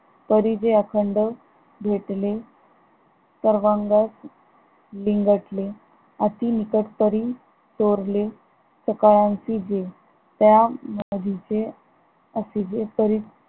परिजे अखंड भेटले सर्वांग बिंगटले अति निखट परी चोरले सकळांची जे त्या मागीचे